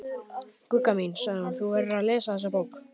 Gugga mín, sagði hún, þú verður að lesa þessa bók!